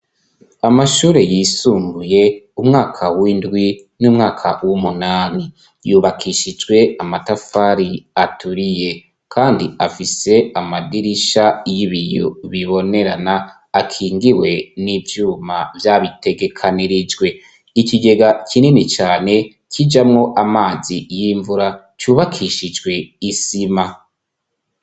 Amashure yisumbuye umwaka w'indwi n'umwaka w'umunani. Yubakishijwe amatafari aturiye , kandi afise amadirisha y'ibiyo bibonerana akingiwe n'ivyuma vyabitegekanirijwe. Ikigega kinini cane kijamwo amazi y'imvura cubakishijwe isima.